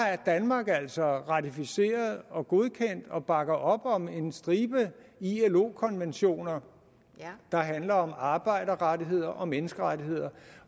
danmark altså ratificeret og godkendt og bakker op om en stribe ilo konventioner der handler om arbejderrettigheder og menneskerettigheder